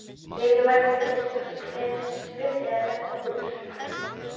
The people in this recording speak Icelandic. Lillý Valgerður Pétursdóttir: Hvers virði er þetta hús?